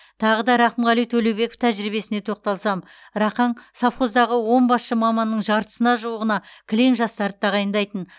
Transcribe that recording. тағы да рақымғали төлеубеков тәжірибесіне тоқталсам рақаң совхоздағы он басшы маманның жартысына жуығына кілең жастарды тағайындайтын